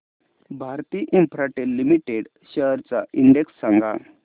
Bharti Infratel limited shares चा index सांगा